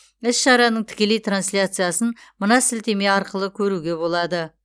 іс шараның тікелей трансляциясын мына сілтеме арқылы көруге болады